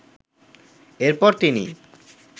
এরপর তিনি